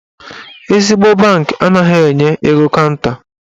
Ezigbo bankị anaghị enye ego kanta.